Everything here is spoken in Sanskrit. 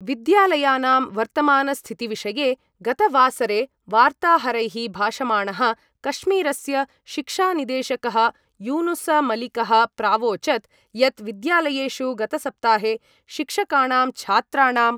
विद्यालयानां वर्तमानस्थितिविषये गतवासरे वार्ताहरैः भाषमाणः कश्मीरस्य शिक्षानिदेशकः यूनुसमलिकः प्रावोचत् यत् विद्यालयेषु गतसप्ताहे शिक्षकाणां छात्राणां